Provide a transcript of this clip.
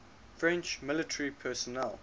french military personnel